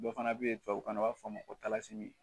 Dɔ fana bɛ ye tubabukan na u b'a fɔ ma ko